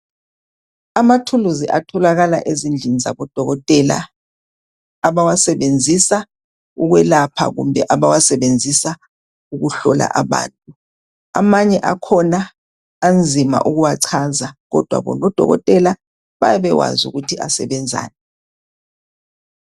Amathuluzi atholakala ezindlini zabodokotela. Abawasebenzisa ukwelapha, kumbe abawasebenzisa ukuhlola abantu. Amanye akhona, anzima ukuwachaza, kodwa bona odokotela, bayabe bewazi ukuthi asebenzani.